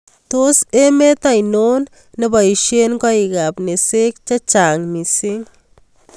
Tos' emet ainon neboisyee koikap nesek che chnag' miising'